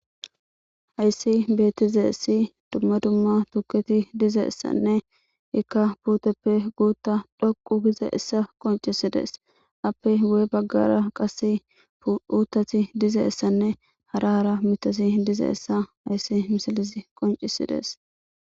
Haysi beetizaysi duma duma tukketi dizayssanne izika puteppe guuthad dhoqu gizaysa qoncisidees. A ppe guye bagara qade uthati dizaysanne hara hara mishati dizaysa haysi misilezi qoncisidees.